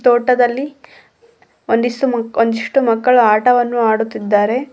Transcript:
ತೋಟದಲ್ಲಿ ಒಂದಿ ಒಂದಿಷ್ ಮಕ್ಕ್ ಒಂದಿಷ್ಟು ಮಕ್ಕಳು ಆಟವನ್ನು ಆಡುತ್ತಿದ್ದಾರೆ.